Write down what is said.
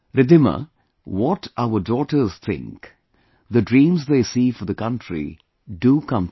Riddhima, what our daughters think, the dreams they see for the country, do come true